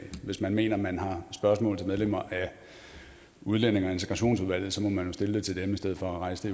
hvis man mener man har spørgsmål til medlemmer af udlændinge og integrationsudvalget må man jo stille det til dem i stedet for at rejse